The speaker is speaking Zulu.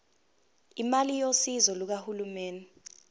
imali yosizo lukahulumeni